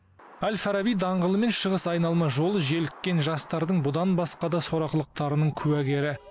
әл фараби даңғылы мен шығыс айналма жолы желіккен жастардың бұдан басқа да сорақылықтарының куәгері